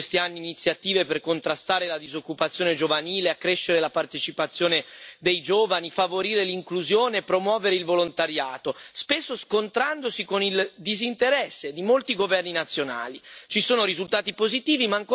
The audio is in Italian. L'Unione europea ha varato in questi anni iniziative per contrastare la disoccupazione giovanile, accrescere la partecipazione dei giovani, favorire l'inclusione, promuovere il volontariato, spesso scontrandosi con il disinteresse di molti governi nazionali.